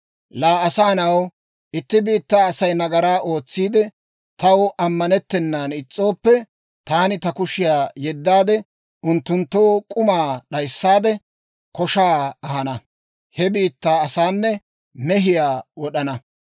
«Laa asaa na'aw, itti biittaa Asay nagaraa ootsiide, taw ammanettennan is's'ooppe, taani ta kushiyaa yeddaade, unttunttoo k'umaa d'ayissaade, koshaa ahana; he biittaa asaanne mehiyaa wod'ana.